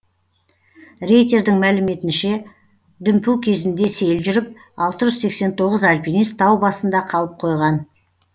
рейтердің мәліметінше дүмпу кезінде сел жүріп алты жүз сексен тоғыз альпинист тау басында қалып қойған